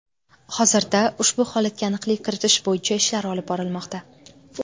Hozirda ushbu holatga aniqlik kiritish bo‘yicha ishlar olib borilmoqda.